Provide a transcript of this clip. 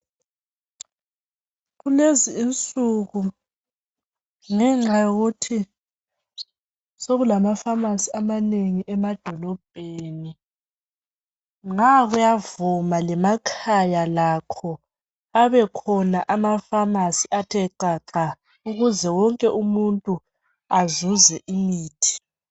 Kulezi insuku ngenxa yokuthi sekulamafamasi amanengi emadolobheni, nga kuyavuma lemakhaya lakho abekhona amafamasi athe xaxa ukuze wonke umuntu azuze imithi.